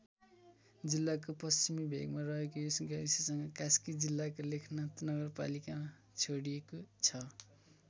जिल्लाको पश्चिमी भेगमा रहेको यस गाविससँग कास्की जिल्लाको लेखनाथ नगरपालिका जोडिएको छ।